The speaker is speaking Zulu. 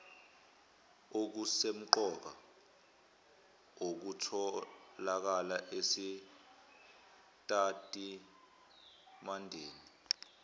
okusemqoka okutholakala esitatimendeni